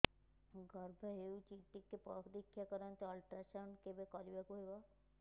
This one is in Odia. ଗର୍ଭ ହେଇଚି ଟିକେ ପରିକ୍ଷା କରନ୍ତୁ ଅଲଟ୍ରାସାଉଣ୍ଡ କେବେ କରିବାକୁ ହବ